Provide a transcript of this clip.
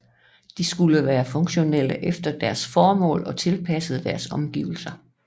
De skulle være funktionelle efter deres formål og tilpassede deres omgivelser